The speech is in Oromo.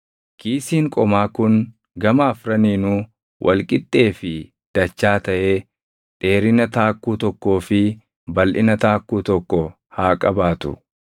Kiisiin qomaa kun gama afraniinuu wal qixxee fi dachaa taʼee dheerina taakkuu tokkoo fi balʼina taakkuu tokko haa qabaatu.